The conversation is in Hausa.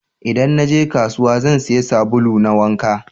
Idan naje kasuwa, zan siya sabulu na wanka